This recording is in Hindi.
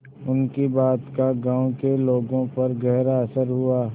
उनकी बात का गांव के लोगों पर गहरा असर हुआ